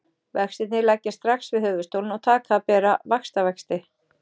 Vextirnir leggjast strax við höfuðstólinn og taka að bera vaxtavexti.